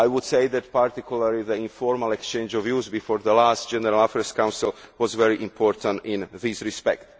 I would say, in particular, that the informal exchange of views before the last General Affairs Council was very important in this respect.